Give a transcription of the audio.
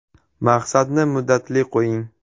Maqsadni muddatli qo‘ying!